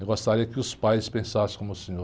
Eu gostaria que os pais pensassem como o senhor.